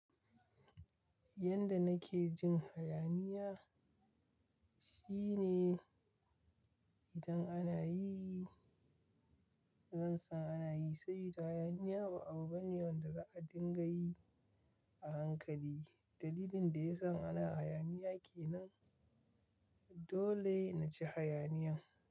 Yanda nake jin hayaniya shine idan ana yi, zan san ana yi saboda hayaniya ba abu bane wanda za a dinga yi a hankali. Dalilin da yasa in ana hayaniya kenan dole na ci haya niyan.